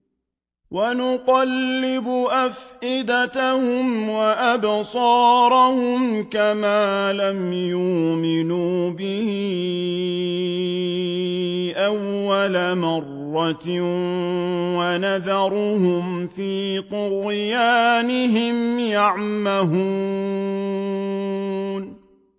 وَنُقَلِّبُ أَفْئِدَتَهُمْ وَأَبْصَارَهُمْ كَمَا لَمْ يُؤْمِنُوا بِهِ أَوَّلَ مَرَّةٍ وَنَذَرُهُمْ فِي طُغْيَانِهِمْ يَعْمَهُونَ